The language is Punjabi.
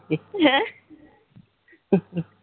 ਹਮ